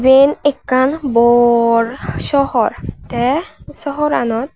eane ekkan borr sowhor tey sowhoranot.